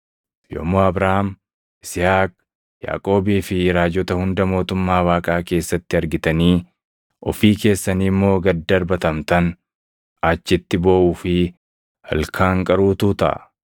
“Yommuu Abrahaam, Yisihaaq, Yaaqoobii fi raajota hunda mootummaa Waaqaa keessatti argitanii, ofii keessanii immoo gad darbatamtan, achitti booʼuu fi ilkaan qaruutu taʼa.